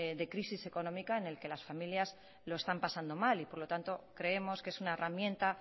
de crisis económica en el que las familias lo están pasando mal y por lo tanto creemos que es una herramienta